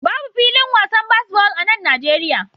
Babu filin wasan baseball a nan Najeriya